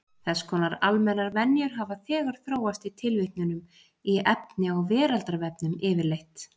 Þess konar almennar venjur hafa þegar þróast í tilvitnunum í efni á Veraldarvefnum yfirleitt.